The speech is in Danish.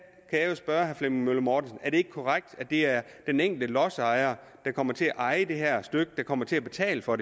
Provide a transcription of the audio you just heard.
jeg jo spørge herre flemming møller mortensen er det ikke korrekt at det er den enkelte lodsejer der kommer til at eje det her stykke der kommer til at betale for